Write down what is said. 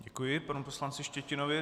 Děkuji panu poslanci Štětinovi.